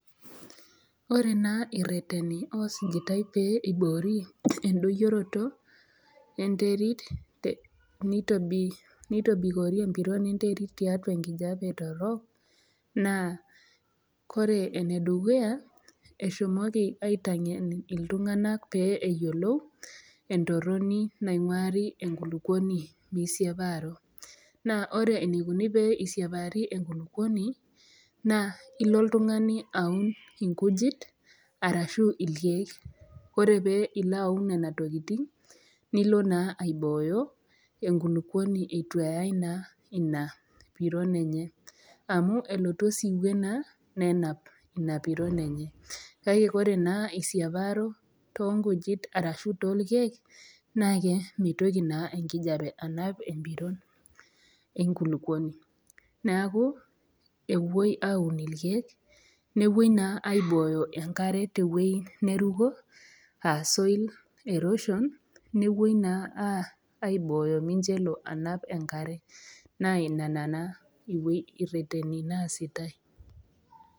Ore naa rreteni osujutai pee eiboori endoyoroto enterit, neitobiri empiron enterit tiatua tenkop, naa kore enedukuya eshomoli aitangen iltunganak pee eyiolou entoroni nainguari enkuluponi meisiapa, naa ore eneikoni peesiapari enkuluponi naa ilo iltungani aun inkujit arashu irkeek, ore ilo aun nena tokitin, nilo naa aibooyo enkuluponi eitu eyai naa ina piron enye amuu elotu esiwuo naa nenap ina piron enye. Kake kore naa eisiaparo too inkujit arashu too irkeek naa kee meitoki naa enkijepe anap empiron enkuluponi, naaku epoi aun irkeek, nepi naa aibooyo enkare teweji neruko aa soil erosion nepoi aibooyo mincho elo anapa enkare, naa ina naa erreteni naasitae.